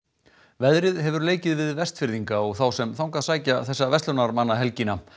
veðrið hefur leikið við Vestfirðinga og þá sem þangað sækja þessa verslunarmannahelgina